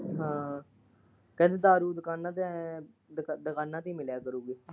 ਹਾਂ ਕਹਿੰਦੀ ਦਾਰੂ ਦੁਕਾਨਾਂ ਤੇ ਐ ਦੁਕਾਨਾਂ ਤੇ ਮਿਲਿਆ ਕਰੂੰਗੀ।